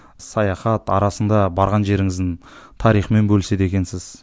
саяхат арасында барған жеріңіздің тарихымен бөліседі екенсіз